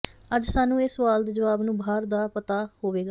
ਅੱਜ ਸਾਨੂੰ ਇਹ ਸਵਾਲ ਦੇ ਜਵਾਬ ਨੂੰ ਬਾਹਰ ਦਾ ਪਤਾ ਹੋਵੇਗਾ